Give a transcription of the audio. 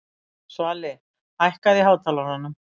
Svali, hækkaðu í hátalaranum.